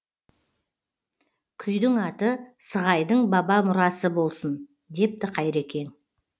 күйдің аты сығайдың баба мұрасы болсын депті қайрекең